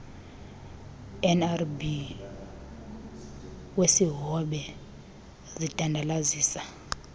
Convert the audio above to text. rnba wesihobe zidandalazisa